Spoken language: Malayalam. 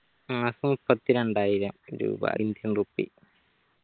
മാസം മുപ്പത്തി രണ്ടായിരം രൂപ indian rupee